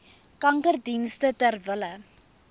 kankerdienste ter wille